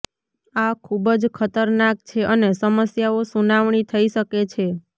આ ખૂબ જ ખતરનાક છે અને સમસ્યાઓ સુનાવણી થઈ શકે છે